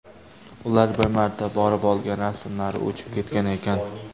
Ular bir marta borib olgan rasmlari o‘chib ketgan ekan.